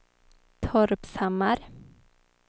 Torpshammar